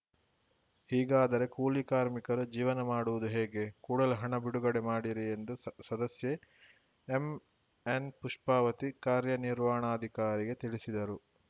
ಹೀಗಾದರೆ ಕೂಲಿ ಕಾರ್ಮಿಕರು ಜೀವನ ಮಾಡುವುದು ಹೇಗೆ ಕೂಡಲೆ ಹಣ ಬಿಡುಗಡೆ ಮಾಡಿರಿ ಎಂದು ಸ ಸದಸ್ಯೆ ಎಂಎನ್‌ಪುಪ್ಪಾವತಿ ಕಾರ್ಯನಿರ್ವಾಣಾಧಿಕಾರಿಗೆ ತಿಳಿಸಿದರು